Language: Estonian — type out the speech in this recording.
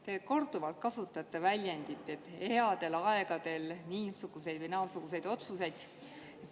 Te olete korduvalt öelnud, et headel aegadel niisuguseid või naasuguseid otsuseid.